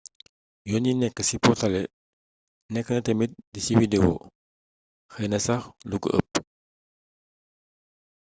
yoon yi nékk ci portalé nékk na tamit ci di widewo xeeyna sax luko eepp